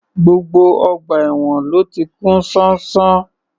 Gbogbo ọgbà èwọ̀n ló ti kún ṣánṣán